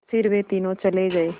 फिर वे तीनों चले गए